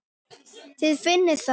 Þið finnið það?